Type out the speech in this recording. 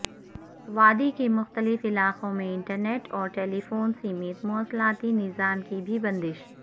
وادی کے مختلف علاقوں میں انٹرنیٹ اور ٹیلیفون سمیت مواصلاتی نظام کی بھی بندش